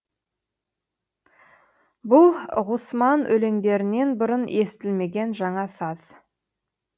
бұл ғұсман өлеңдерінен бұрын естілмеген жаңа саз